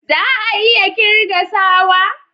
Za a iya kirga sawa?